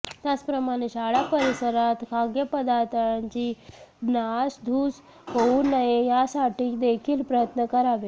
त्याचप्रमाणे शाळा परिसरात खाद्यपदार्थांची नासधूस होऊ नये यासाठी देखील प्रयत्न करावे